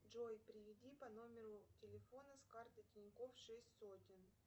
джой переведи по номеру телефона с карты тинькофф шесть сотен